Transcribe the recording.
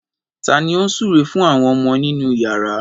Ta ni ó ń súre fún àwọn ọmọ nínú ìyàrá?